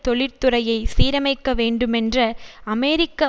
தொழிற்துறையை சீரமைக்க வேண்டுமென்ற அமெரிக்க